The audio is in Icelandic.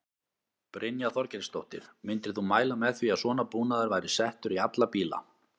Brynja Þorgeirsdóttir: Myndir þú mæla með því að svona búnaður væri settur í alla bíla?